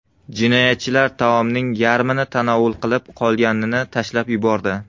Jinoyatchilar taomning yarmini tanovul qilib, qolganini tashlab yubordi.